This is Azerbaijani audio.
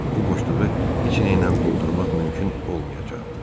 Bu boşluğu heç nəylə doldurmaq mümkün olmayacaqdı.